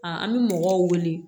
A an bɛ mɔgɔw wele